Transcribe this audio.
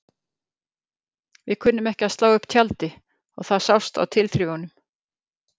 Við kunnum ekki að slá upp tjaldi og það sást á tilþrifunum.